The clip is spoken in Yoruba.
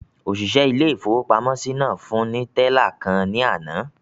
Òṣìṣẹ́ ilé-ìfowópamọ́sí náà fún ní tẹ́là kan ní àná